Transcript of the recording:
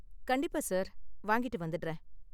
கண்டிப்பா சார், வாங்கிட்டு வந்திடுறேன்